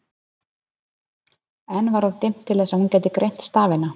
Enn var of dimmt til þess að hún gæti greint stafina.